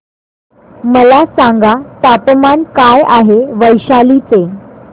मला सांगा तापमान काय आहे वैशाली चे